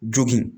Jogin